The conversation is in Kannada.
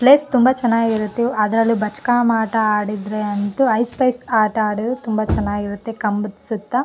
ಪ್ಲೇಸ್ ತುಂಬಾ ಚೆನ್ನಾಗಿರುತ್ತೆ ಅದ್ರಲ್ಲೂ ಆಟ ಆಡಿದ್ರೆ ಅಂತೂ ಐಸ್ ಪ್ಲೇಸ್ ಆಟ ಆಡಿದ್ರೆ ತುಂಬಾ ಚೆನ್ನಾಗಿರುತ್ತೆ ಕಂಬದ ಸುತ್ತ --